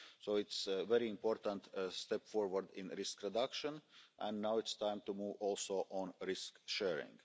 So it's a very important step forward in risk reduction and now it's time to move also on risk sharing.